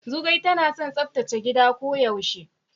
Zugwai tana son tsaftace gida ko yaushe.